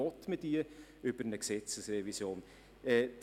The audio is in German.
Wollen wir dies über eine Gesetzesrevision tun?